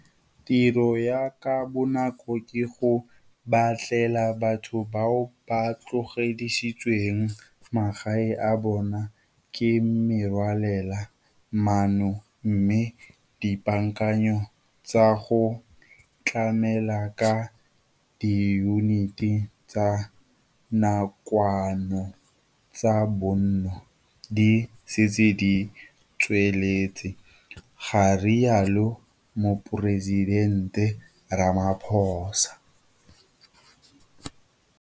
Tiro ya ka bonako ke go batlela batho bao ba tlogedisitsweng magae a bona ke merwalela manno mme dipaakanyo tsa go tlamela ka diyuniti tsa nakwano tsa bonno di setse di tsweletse, ga rialo Moporesidente Ramaphosa.